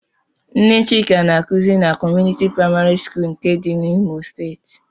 Nne Chika na-akuzi na Community Praịmarị skul dị n'Imo steeti.